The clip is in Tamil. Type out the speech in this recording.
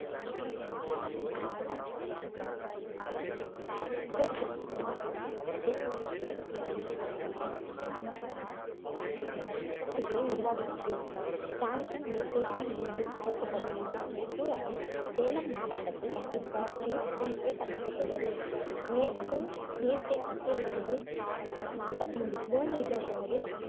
உருவாகிறது டான்ஸி நீர்த்தேக்கம் என்றும் அழைக்கப்படுகிறது மேட்டூர் அணை சேலம் மாவட்டத்தில் இவ்வாற்றின் குறுக்கே கட்டப்பட்டுள்ளது மேட்டூர் நீர்தேக்கத்தில் இருந்து சுமார் நாப்பத்தைந்து kilometer தொலைவில்